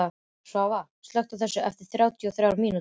Svava, slökktu á þessu eftir þrjátíu og þrjár mínútur.